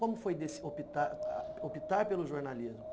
Como foi optar optar pelo jornalismo?